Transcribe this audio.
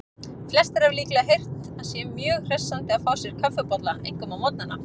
Flestir hafa líklega heyrt að sé mjög hressandi að fá sér kaffibolla, einkum á morgnana.